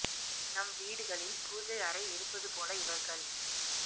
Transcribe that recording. நம் வீடுகளில் பூஜை அறை இருப்பது போல இவர்கள்